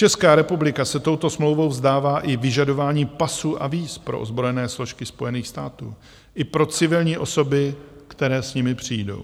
Česká republika se touto smlouvou vzdává i vyžadování pasů a víz pro ozbrojené složky Spojených států i pro civilní osoby, které s nimi přijdou.